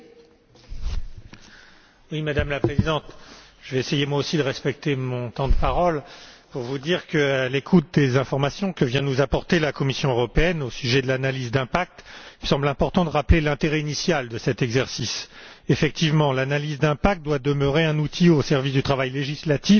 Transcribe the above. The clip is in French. Madame la Présidente, je vais également essayer de respecter mon temps de parole pour vous dire qu'à l'écoute des informations que vient de nous apporter la Commission européenne au sujet de l'analyse d'impact, il me semble important de rappeler l'intérêt initial de cet exercice. Effectivement, l'analyse d'impact doit demeurer un outil au service du travail législatif et réglementaire européen.